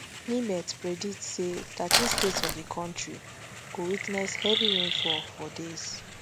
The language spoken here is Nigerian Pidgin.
nimet predict say thirteen states of di kontri go witness heavy rainfall for days